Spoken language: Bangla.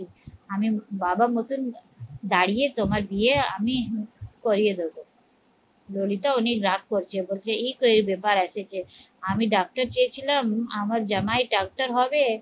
আমি বাবার মতন দাঁড়িয়ে তোমার বিয়ে আমি করিয়ে দেবো ললিতা উনি রাগ করছে বলছে ই তো এই ব্যাপার এসেছে আমি ডাকাইতেছিলাম, আমার জামাই ডাক্তার হবে